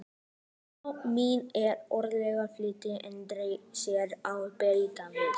Mamma mín er verkakona, flýtti Andri sér að bæta við.